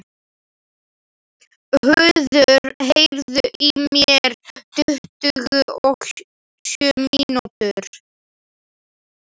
Höður, heyrðu í mér eftir tuttugu og sjö mínútur.